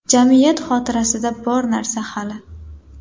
Jamiyat xotirasida bor narsa hali.